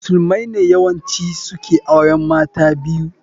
Musulmai ne yawanci su ke auren mata biyu